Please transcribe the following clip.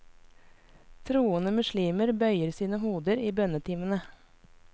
Troende muslimer bøyer sine hoder i bønnetimene.